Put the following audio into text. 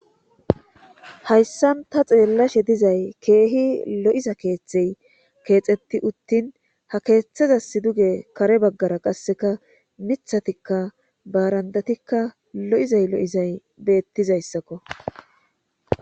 Hayssan ta xeellashe dizay keehi lo'iza keeththey keexetti uttin ha keeththezas duge kare baggara qasseka mithatikka baarandatikka lo'izay lo'izay beettizayssakko